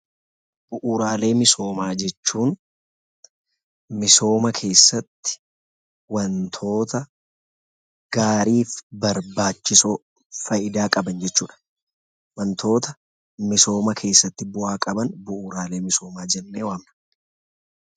Bu'uraalee misoomaa jechuun misooma keessatti wantoota gaariif barbaachisoo faayidaa qaban jechuu dha. Wantoota misooma keessa tti bu'aa qaban' Bu'uraalee misoomaa' jennee waamna.